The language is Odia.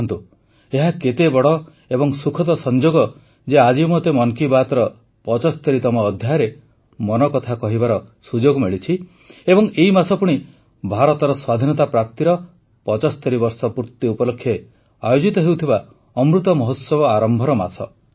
ଦେଖନ୍ତୁ ଏହା କେତେ ବଡ଼ ଏବଂ ସୁଖଦ ସଂଯୋଗ ଯେ ଆଜି ମୋତେ ମନ୍ କି ବାତ୍ର ୭୫ତମ ଅଧ୍ୟାୟରେ ମନକଥା କହିବାର ସୁଯୋଗ ମିଳିଛି ଏବଂ ଏହି ମାସ ପୁଣି ଭାରତର ସ୍ୱାଧୀନତା ପ୍ରାପ୍ତିର ୭୫ ବର୍ଷ ପୁର୍ତି ଉପଲକ୍ଷେ ଆୟୋଜିତ ହେଉଥବା ଅମୃତ ମହୋତ୍ସବ ଆରମ୍ଭର ମାସ